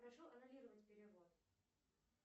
прошу аннулировать перевод